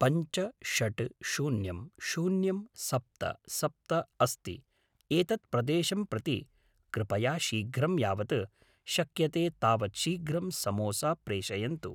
पञ्च षड् शून्यं शून्यं सप्त सप्त अस्ति एतत् प्रदेशं प्रति कृपया शीघ्रं यावत् शक्यते तावत् शीघ्रं समोसा प्रेषयन्तु